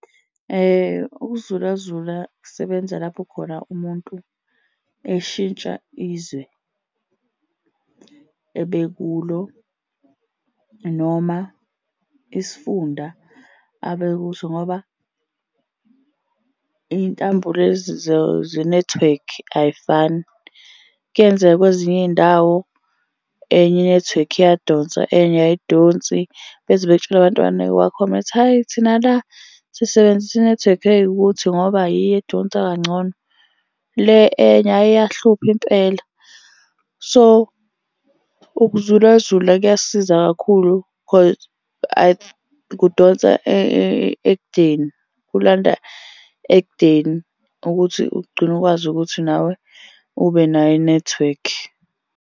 Ukuzulazula kusebenza lapho khona umuntu eshintsha izwe ebe kulo noma isifunda abe kuso, ngoba iy'ntambo lezi zenethiwekhi ay'fani. Kuyenzeka kwezinye iy'ndawo enye inethiwekhi iyadonsa enye ayidonsi, beze bekutshele , hhayi thina la sisebenzisa inethiwekhi eyikuthi ngoba yiyo edonsa kangcono. Le enye ayi iyahlupha impela. So, ukuzulazula kuyasiza kakhulu cause kudonsa ekudeni kulanda ekudeni ukuthi ugcine ukwazi ukuthi nawe ube nayo inethiwekhi.